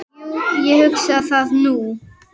Jú, ég hugsa það nú.